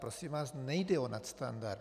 Prosím vás, nejde o nadstandard.